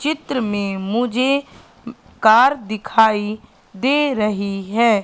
चित्र में मुझे ऊं कार दिखाई दे रही है।